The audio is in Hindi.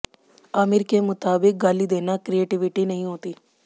आमिर के मुताबिक गाली देना क्रिएटीवीटी नहीं होती